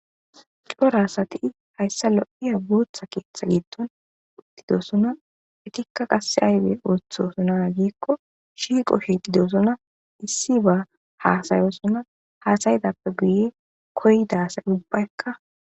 Cora asati hayssa lo7iya bootha keeththa giitton uddidosona etikka qasse aybe oothosona giikko shiiqo shiixidesona issi ba haasayosona hasayidappe biye koydasa ubbaykka.